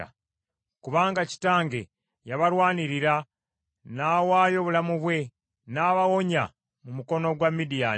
kubanga kitange yabalwanirira, n’awaayo obulamu bwe, n’abawonya mu mukono gwa Midiyaani,